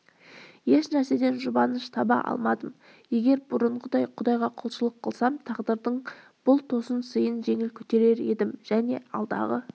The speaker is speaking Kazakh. ешнәрседен жұбаныш таба алмадым егер бұрынғыдай құдайға құлшылық қылсам тағдырдың бұл тосын сыйын жеңіл көтерер едім және алдағы